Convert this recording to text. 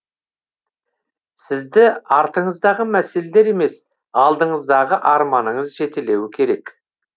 сізді артыңыздағы мәселелер емес алдыңыздағы армандарыңыз жетелеуі керек